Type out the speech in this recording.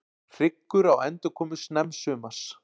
Hyggur á endurkomu snemmsumars